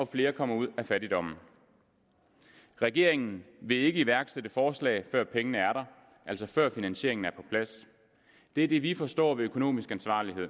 flere kommer ud af fattigdommen regeringen vil ikke iværksætte forslag før pengene er der altså før finansieringen er på plads det er det vi forstår ved økonomisk ansvarlighed